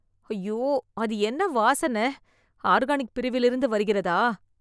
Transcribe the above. ஐயோ, அது என்ன வாசன? ஆர்கானிக் பிரிவில் இருந்து வருகிறதா?